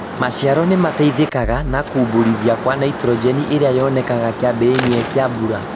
Maciaro nĩ mateithĩkaga na kumbuthũra Kwa naitrojeni iria yonekanaga kĩambĩrĩria kĩa mbura